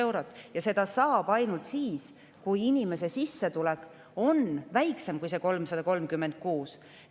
Ja saab ainult siis, kui inimese sissetulek on väiksem kui see 336.